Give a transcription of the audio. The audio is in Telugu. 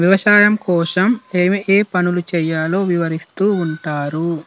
వ్యవసాయం కోసం ఏమి ఏమి చేయాలో వివరిస్తూ ఉంటారు.